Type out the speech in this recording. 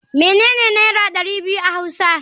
Menene naira dari biyu a hausa.